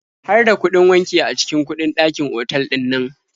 Har da kuɗin wanki a cikin kuɗin dakin otal ɗinnan?